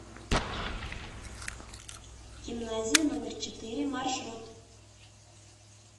гимназия номер четыре маршрут